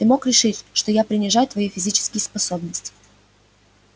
ты мог решить что я принижаю твои физические способности